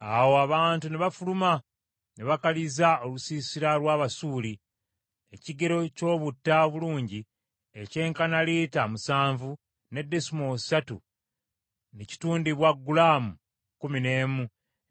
Awo abantu ne bafuluma, ne bakaliza olusiisira lw’Abasuuli. Ekigero ky’obutta obulungi ekyenkana lita musanvu ne desimoolo ssatu ne kitundibwa gulaamu kkumi n’emu,